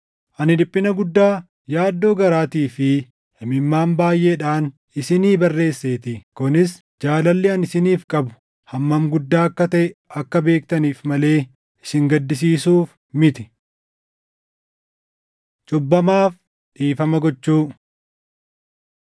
Ani dhiphina guddaa, yaaddoo garaatii fi imimmaan baayʼeedhaan isinii barreesseetii; kunis jaalalli ani isiniif qabu hammam guddaa akka taʼe akka beektaniif malee isin gaddisiisuuf miti. Cubbamaaf Dhiifama Gochuu